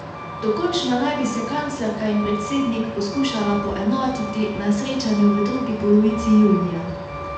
Dokončno naj bi se kanclerka in predsednik poskušala poenotiti na srečanju v drugi polovici junija.